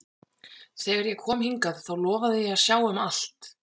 Þegar ég kom hingað þá lofaði ég að sjá um allt.